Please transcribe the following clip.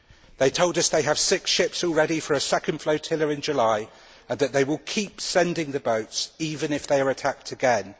They told us they have six ships all ready for a second flotilla in July and that they will keep sending the boats, even if they are attacked again.